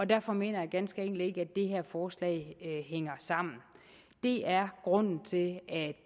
derfor mener jeg ganske enkelt ikke at det her forslag hænger sammen det er grunden til at